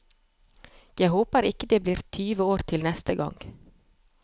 Jeg håper ikke det blir tyve år til neste gang.